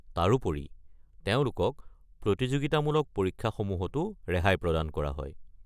তাৰোপৰি, তেওঁলোকক প্ৰতিযোগিতামূলক পৰীক্ষাসমূহতো ৰেহাই প্ৰদান কৰা হয়।